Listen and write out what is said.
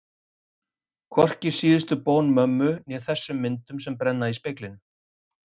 Hvorki síðustu bón mömmu né þessum myndum sem brenna í speglinum.